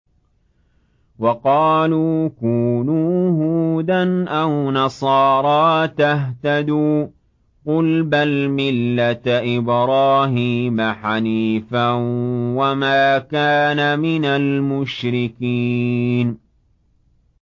وَقَالُوا كُونُوا هُودًا أَوْ نَصَارَىٰ تَهْتَدُوا ۗ قُلْ بَلْ مِلَّةَ إِبْرَاهِيمَ حَنِيفًا ۖ وَمَا كَانَ مِنَ الْمُشْرِكِينَ